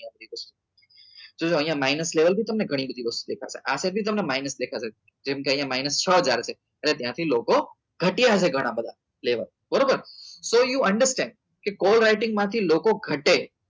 જો અહિયાં minus level ની બી તમને ગણી બધી દેખાશે આ side બી તમને minus દેખાશે કેમ કે અહિયાં minus છ હજાર હશે એટલે ત્યાં થી લોકો ઘટ્યા હશે ઘણા બધા player બરોબર so you understand કે call writing માંથી લોકો ઘટે